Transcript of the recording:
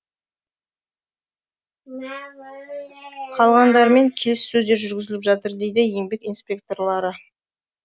қалғандарымен келіссөздер жүргізіліп жатыр дейді еңбек инспекторлары